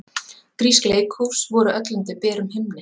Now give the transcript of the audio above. Grísk leikhús voru öll undir berum himni.